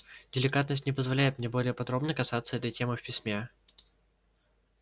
деликатность не позволяет мне более подробно касаться этой темы в письме